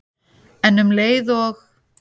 En um leið og